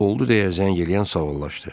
Oldu deyə zəng eləyən sağollaşdı.